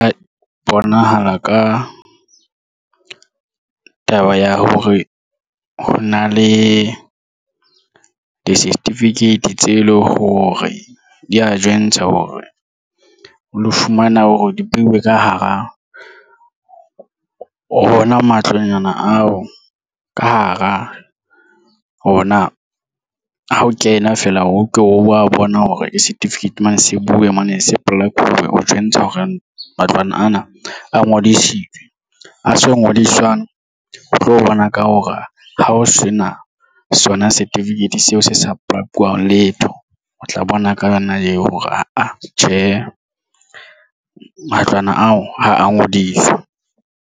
A bonahala ka taba ya hore ho na le di-certificate tse leng hore di ya jwentsha hore o lo fumana hore dibeuwe ka hara wona matlonyana ao ka hara ona ha o kena feela, o ke wa bona hore ke certificate mane se buwe mane se-plug-we ho jwentsha hore matlwana ana a ngodisitswe a sa ngodiswang o tlo bona ka hore ha o sena sona certificate seo se sa papalwang letho o tla bona ka yona eo hore aa tjhe matlwana ao ha a ngodiswa.